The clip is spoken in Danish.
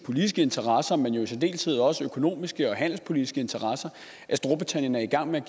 politiske interesser men i særdeleshed også økonomiske og handelspolitiske interesser storbritannien er i gang med at